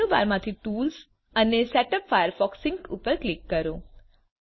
menu બારમાંથી tools અને setup Firefox sync ઉપર ક્લિક કરો